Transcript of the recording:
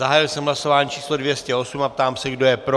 Zahájil jsem hlasování číslo 208 a ptám se, kdo je pro.